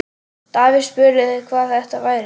Davíð spurði, hvað þetta væri.